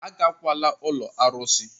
Agakwala ụlọ arụsị!